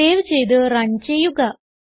save ചെയ്ത് run ചെയ്യുക